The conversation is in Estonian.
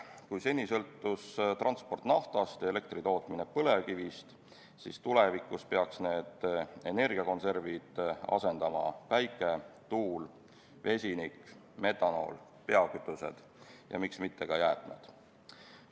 Kui seni sõltus transport naftast ja elektri tootmine põlevkivist, siis tulevikus peaks need energiakonservid asendama päike, tuul, vesinik, metanool, biokütused ja miks mitte ka jäätmed.